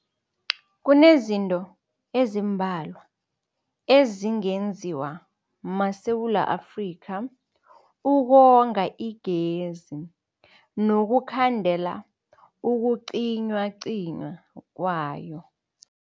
Kunezinto ezimbalwa ezingenziwa maSewula Afrika ukonga igezi nokukhandela ukucinywacinywa kwayo.